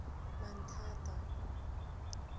manthata